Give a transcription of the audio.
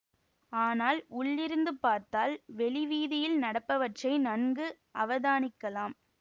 ஆனால் உள்ளிருந்து பார்த்தால் வெளி வீதியில் நடப்பவற்றை நன்கு அவதானிக்கலாம்